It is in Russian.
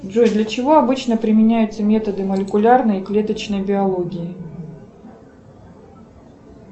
джой для чего обычно применяются методы молекулярной и клеточной биологии